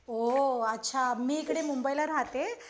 ओ अच्छा मी इकडे मुंबईला राहते.